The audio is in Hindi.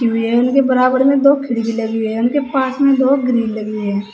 की हुई है। इनके बराबर में दो खिड़की लगी हुई हैं। इनके पास में दो ग्रिल लगी हुई हैं।